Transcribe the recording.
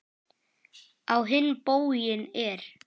Á hinn bóginn er